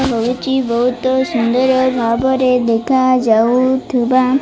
ଏ ହଉଚି ବହୁତ ସୁନ୍ଦର ଭାବରେ ଦେଖା ଯାଉଥିବା --